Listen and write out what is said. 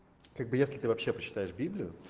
как бы если ты вообще почитаешь библию